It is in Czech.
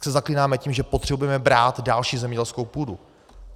Tak se zaklínáme tím, že potřebujeme brát další zemědělskou půdu.